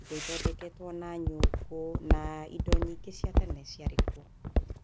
indo ĩthondekwo na nyũngũ na indo nyingĩ cia tene ciarĩ kuo.